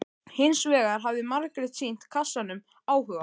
Hins vegar hafði Margrét sýnt kassanum áhuga.